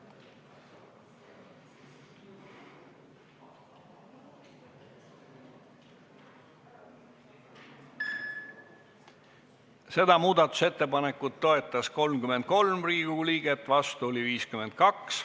Hääletustulemused Seda muudatusettepanekut toetas 33 Riigikogu liiget, vastu oli 52.